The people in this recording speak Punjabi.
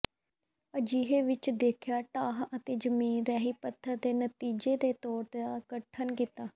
ਅਜਿਹੇ ਵਿੱਚ ਦੇਖਿਆ ਢਾਹ ਅਤੇ ਜ਼ਮੀਨ ਰੈਹੀ ਪੱਥਰ ਦੇ ਨਤੀਜੇ ਦੇ ਤੌਰ ਦਾ ਗਠਨ ਕੀਤਾ